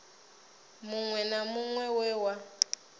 muṅwe na muṅwe we wa